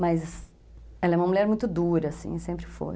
Mas ela é uma mulher muito dura, assim, sempre foi.